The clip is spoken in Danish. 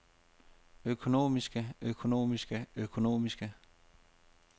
økonomiske økonomiske økonomiske